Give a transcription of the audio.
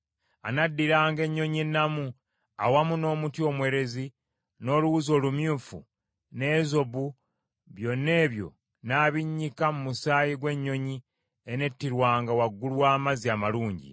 Anaddiranga ennyonyi ennamu, awamu n’omuti omwerezi, n’oluwuzi olumyufu, n’ezobu, byonna ebyo n’abinnyika mu musaayi gw’ennyonyi enettirwanga waggulu w’amazzi amalungi.